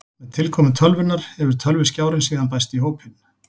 Með tilkomu tölvunnar hefur tölvuskjárinn síðan bæst í hópinn.